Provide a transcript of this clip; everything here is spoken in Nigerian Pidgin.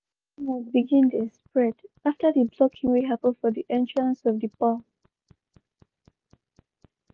na so rumors begin dey spread after d blocking wey hapen for d entrance of d parl.